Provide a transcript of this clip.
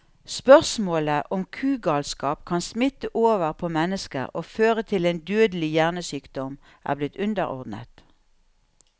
Spørsmålet om kugalskap kan smitte over på mennesker og føre til en dødelig hjernesykdom, er blitt underordnet.